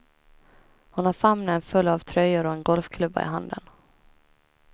Hon har famnen full av tröjor och en golfklubba i handen.